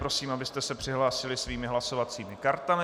Prosím, abyste se přihlásili svými hlasovacími kartami.